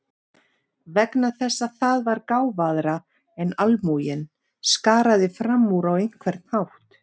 Vegna þess að það var gáfaðra en almúginn, skaraði fram úr á einhvern hátt.